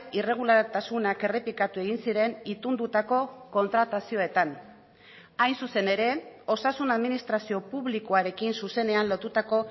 irregulartasunak errepikatu egin ziren itundutako kontratazioetan hain zuzen ere osasun administrazio publikoarekin zuzenean lotutako